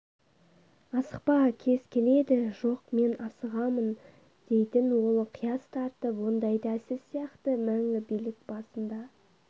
асықпа кез келеді жоқ мен асығамын дейтін ол қияс тартып ондайда сіз сияқты мәңгі билік басында